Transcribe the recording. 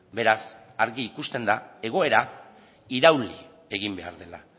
beraz argi ikusten da egoera irauli egin behar dela